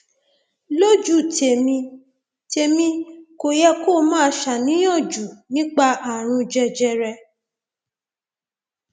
lójú tèmi tèmi kò yẹ kó o máa ṣàníyàn jù nípa ààrùn jẹjẹrẹ